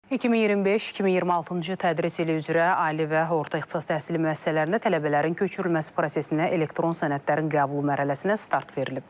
2025-2026-cı tədris ili üzrə ali və orta ixtisas təhsili müəssisələrində tələbələrin köçürülməsi prosesinə elektron sənədlərin qəbulu mərhələsinə start verilib.